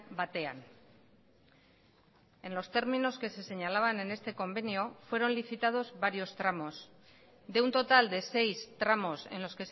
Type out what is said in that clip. batean en los términos que se señalaban en este convenio fueron licitados varios tramos de un total de seis tramos en los